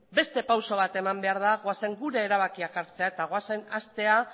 beste pauso bat eman behar da goazen gure erabakiak hartzera eta goazen hastera